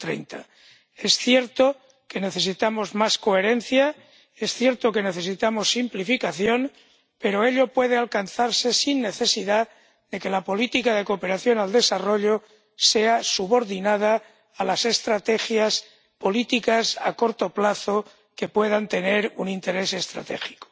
2030. Es cierto que necesitamos más coherencia. Es cierto que necesitamos simplificación, pero ello puede alcanzarse sin necesidad de que la política de cooperación al desarrollo sea subordinada a las estrategias políticas a corto plazo que puedan tener un interés estratégico.